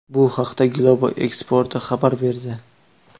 Bu haqda Globo Esporte xabar berdi .